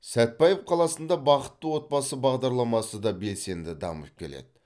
сәтпаев қаласында бақытты отбасы бағдарламасы да белсенді дамып келеді